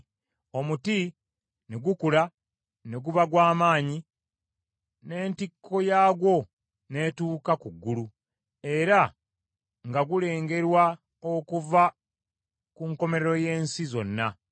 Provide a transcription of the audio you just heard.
Omuti ne gukula ne guba gwa maanyi, n’entikko yaagwo n’etuuka ku ggulu era nga gulengerwa okuva ku nkomerero y’ensi zonna.